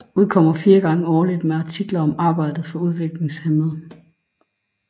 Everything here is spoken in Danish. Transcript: Udkommer fire gange årligt med artikler om arbejdet for udviklingshæmmede